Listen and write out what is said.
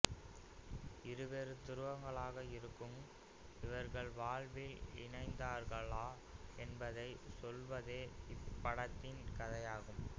இருவேறு துருங்களாக இருக்ககும் இவர்கள் வாழ்வில் இணைந்தார்களா என்பதை சொல்லுவதே இப்படத்தின் கதையாகும்